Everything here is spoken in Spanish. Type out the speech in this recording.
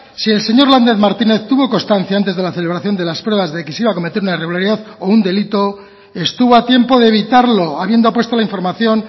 si el señor lander martínez tuvo constancia antes de la celebración de las pruebas de que se iba a cometer una irregularidad o un delito estuvo a tiempo de evitarlo habiendo puesto la información